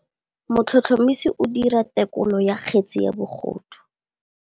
Motlhotlhomisi o dira têkolô ya kgetse ya bogodu.